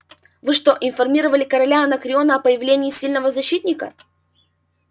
вы что информировали короля анакреона о появлении сильного защитника